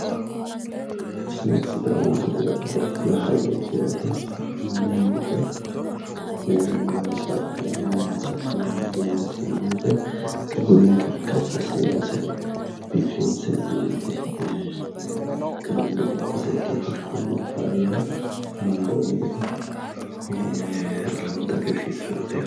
tini sidaamu budira baxxitino hayyooti yaate meemote waasa meemiissinannite budinkenni kaffi assira noose biifinse amande ee garunni dikko seekkine fushshinummoro faayyaho amandoonni gari lowonta hagiirsiissanote yaate.